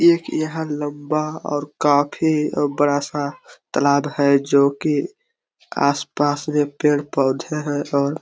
एक यहाँ लम्बा और काफ़ी बड़ा-सा तलाब है जोकि आसपास में पेड़-पौधे है और--